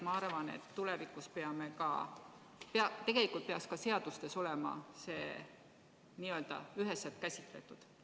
Ma arvan, et tegelikult peaks ka seadustes olema see üheselt käsitletud.